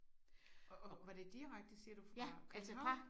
Og og var det direkte siger du fra København?